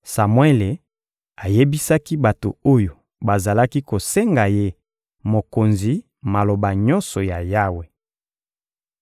Samuele ayebisaki bato oyo bazalaki kosenga ye mokonzi maloba nyonso ya Yawe.